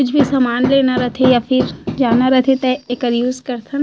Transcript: कुछ भी सामान लेना रथ है या फिर जाना रथे तो इकर यूज़ करथन --